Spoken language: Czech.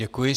Děkuji.